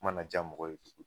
Ma na ja mɔgɔ ye